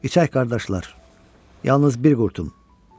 İçək qardaşlar, yalnız bir qurtum.